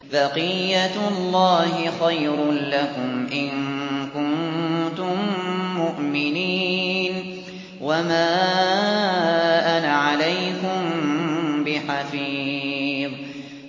بَقِيَّتُ اللَّهِ خَيْرٌ لَّكُمْ إِن كُنتُم مُّؤْمِنِينَ ۚ وَمَا أَنَا عَلَيْكُم بِحَفِيظٍ